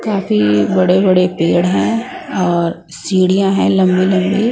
काफी बड़े-बड़े पेड़ हैं और सीढ़ियां हैं लंबी-लंबी--